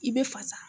I bɛ fasa